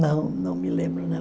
Não, não me lembro, não.